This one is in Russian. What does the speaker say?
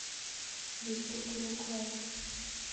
ютуб луклайк